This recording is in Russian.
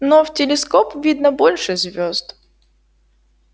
но в телескоп видно больше звёзд